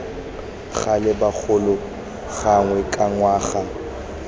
gale bogolo gangwe ka ngwaga